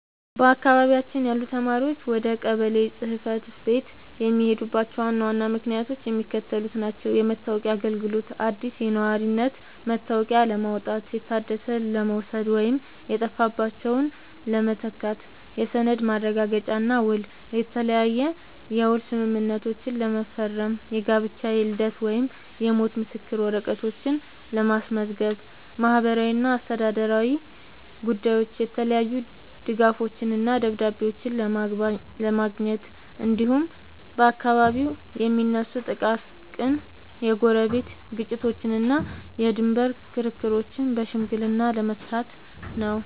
በአካባቢያችን ያሉ ነዋሪዎች ወደ ቀበሌ ጽሕፈት ቤት የሚሄዱባቸው ዋና ዋና ምክንያቶች የሚከተሉት ናቸው፦ የመታወቂያ አገልግሎት፦ አዲስ የነዋሪነት መታወቂያ ለማውጣት፣ የታደሰ ለመውሰድ ወይም የጠፋባቸውን ለመተካት። የሰነድ ማረጋገጫና ውል፦ የተለያየ የውል ስምምነቶችን ለመፈረም፣ የጋብቻ፣ የልደት ወይም የሞት ምስክር ወረቀቶችን ለማስመዝገብ። ማህበራዊና አስተዳደራዊ ጉዳዮች፦ የተለያዩ ድጋፎችንና ደብዳቤዎችን ለማግኘት፣ እንዲሁም በአካባቢው የሚነሱ ጥቃቅን የጎረቤት ግጭቶችንና የድንበር ክርክሮችን በሽምግልና ለመፍታት ነው።